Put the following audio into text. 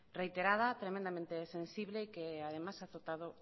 reiterada tremendamente sensible y que además a afectado